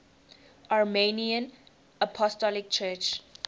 armenian apostolic church